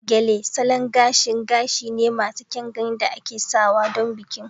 Gele Salon gashin gashi ne masu kyan gani da ake sawa don bikin